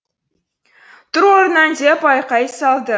тұр орныңнан деп айқай салды